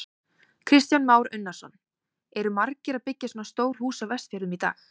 Kristján Már Unnarsson: Eru margir að byggja svona stór hús á Vestfjörðum í dag?